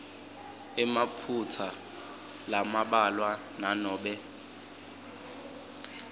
emaphutsa lambalwa nanobe